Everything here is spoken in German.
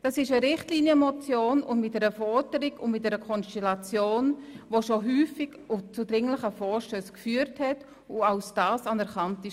Es handelt sich hier um eine Richtlinienmotion mit einer Forderung und mit einer Konstellation, die bereits oft zu dringlichen Vorstössen geführt haben die als solche anerkannt worden sind.